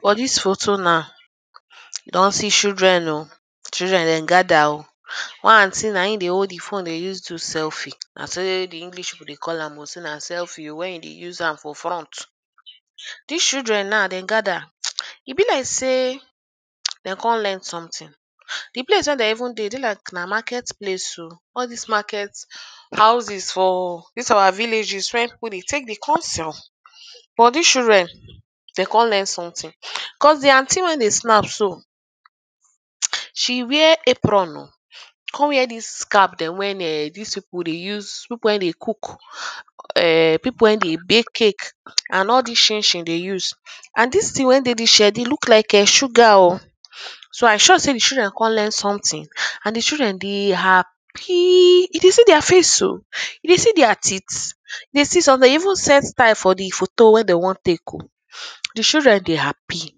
For this photo now I don see children oo children dem gather o one aunty na im de hold the phone de use do selfie, na so the English people call am o, say na selfie when you do use am for front this children now dem gather e be like say dem come learn something the place wey dem even dey Dey like na market place o all these market houses for this our villages wey people de take dey come sell but this children dem come learn something cos the aunty wey de snap so she wear apron come wear this cap wen this people dey use people wey dey cook cook[um]people wey de bake cake and all these chinchin de use use and this thing wey de this shed e look like[um]sugar o so I sure say the children come learn something and the children de hap pyy you de see their face so you see their teeth you see some de even set style for the photo wey dey want take o the children de happy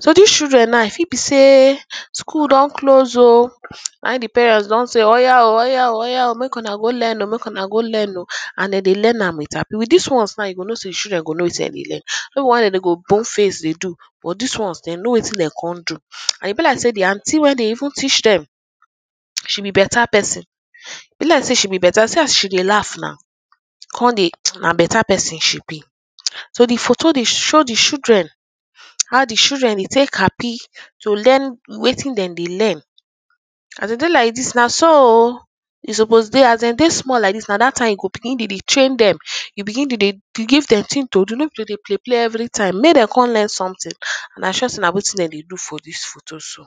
so this children now e fit be say school don close o na im the parent don say oya o oya o oya o make una go learn o make una go learn o and dem De learn am with happy with these ones now you go know children go know wetin dem de learn no be the one wey dem go de borne face de do but these ones dem no wetin dem come do and e be like say the aunty wey de even each them she be better person e be like sey she be better see as she de laugh na come de na better person she be so the photo dey show the children how the children de take happy to learn wetin dem de learn as them dey like this na so o e suppose de as dem de small like this na that time you go begin to de train them, you begin to de give dem thing to do no be to de play play everytime make dem come learn something and I sure say na wetin dem de do for this photo so